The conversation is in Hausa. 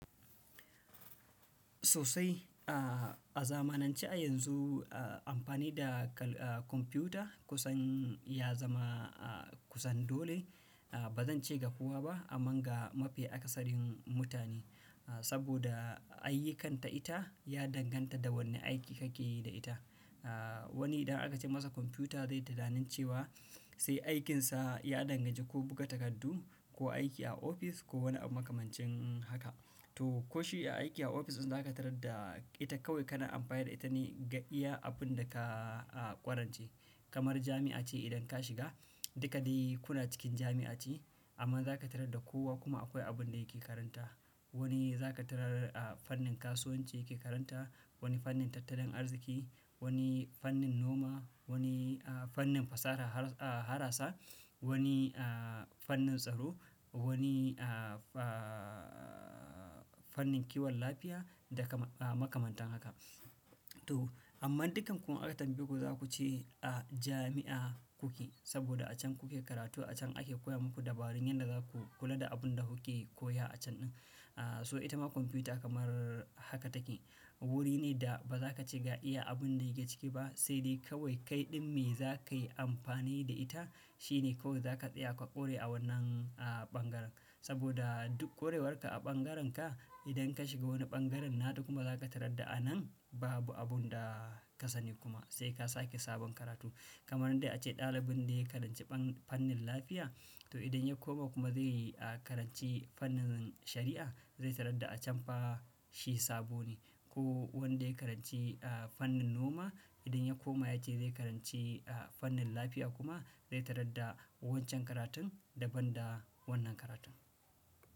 Sosai, a, a zamanance a yanzu, a, amfani da kal-- a, computer kusan ya zama, a, kusan dole. A, ba zan ce ga kowa ba amma ga mafi akasarin mutane. A, saboda ayyukanta ita ya danganta da wane aiki kake yi da ita. A, wani idan aka ce masa computer zai tunanin cewa sai aikinsa ya dangance ko buga takardu ko aiki a office ko wani abu makamancin haka. To, ko shi ya aiki a office din za ka tarar da ita kawai kana amfani da ita ne ga iya abun da ka, a, ƙwarance. Kamar jami'a ce idan ka shiga, duka dai kuna cikin jami'a ce amma za ka tarar da kowa kuma akwai abun da yake karanta. Wani za ka tarar, a, fannin kasuwanci yake karanta, wani fannin tattalin arziki, wani fannin noma, wani, a, fannin fasaha haras-- a, harasa, wani, a, fannin tsaro, wani, a, a, fannin kiwon lafiya da kama-- a, makamantan haka. To, amma dukkan ku an tambaye ku za ku ce a jami'a kuke saboda a can kuke karatu, a can ake koya muku dabarun yadda za ku kula da abun da kuke koya a can din. A, so ita ma kwamfuta kamar haka take. Wuri ne da ba za ka ce iya abun da yake ciki ba saidai kawai kai ɗin me za ka yi amfani da ita shine ko za ka tsaya ka ƙore a wannan, a, ɓangaren. Saboda duk ƙorewarka a ɓangarenka idan ka shiga wani ɓangaren naɗi kuma za ka tarar da anan babu abun da ka sani kuma sai ka sake sabon karatu. Kamar jami'a ce idan ka shiga, duka dai kuna cikin jami'a ce amma za ka tarar da kowa kuma akwai abun da yake karanta. Ko wanda ya karanci, a, fannin noma idan ya koma ya ce zai karanci, a, fannin lafiya kuma zai tarar da wancan karatun daban da wannan karatun.